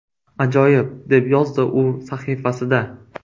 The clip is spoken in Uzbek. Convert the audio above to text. Ajoyib”, deb yozdi u sahifasida.